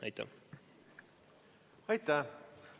Aitäh!